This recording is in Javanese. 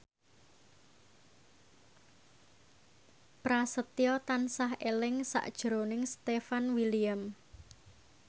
Prasetyo tansah eling sakjroning Stefan William